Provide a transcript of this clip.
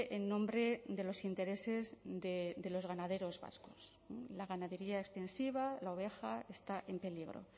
en nombre de los intereses de los ganaderos vascos la ganadería extensiva la oveja está en peligro